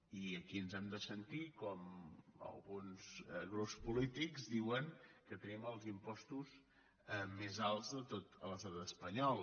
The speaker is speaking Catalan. i aquí ens hem de sentir com alguns grups po lítics diuen que tenim els impostos més alts de tot l’estat espanyol